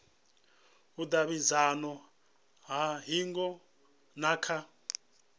vhudavhidzano ha hingo na kha